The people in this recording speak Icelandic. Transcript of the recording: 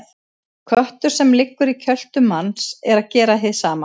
Köttur sem liggur í kjöltu manns er að gera hið sama.